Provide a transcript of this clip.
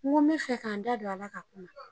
N ko me fɛ ka n da don a la ka kuma